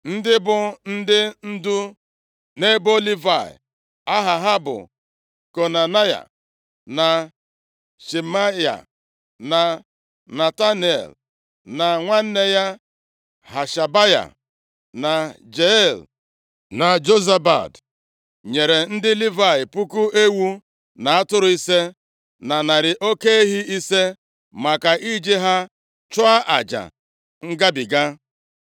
Ndị bụ ndị ndu nʼebo Livayị aha ha bụ Konanaya, na Shemaya, na Netanel, na nwanne ya Hashabaya, na Jeiel, na Jozabad, nyere ndị Livayị puku ewu na atụrụ ise, na narị oke ehi ise maka iji ha chụọ aja Ngabiga.